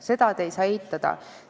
Seda ei saa te eitada.